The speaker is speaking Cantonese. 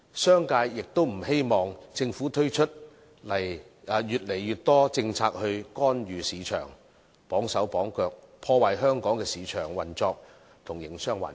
商界亦不希望政府推出越來越多政策來干預市場，綁手綁腳，破壞香港的市場運作和營商環境。